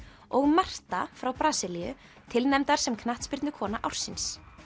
og Marta frá Brasilíu tilnefndar sem knattspyrnukona ársins